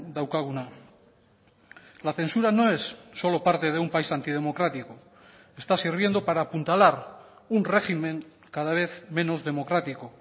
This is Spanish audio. daukaguna la censura no es solo parte de un país antidemocrático está sirviendo para apuntalar un régimen cada vez menos democrático